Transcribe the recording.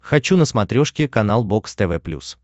хочу на смотрешке канал бокс тв плюс